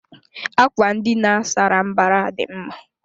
Àkwà ndina sárá mbara dị mma.